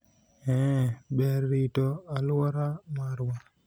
eeh, ber rito aluora marwa